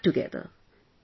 We will fight together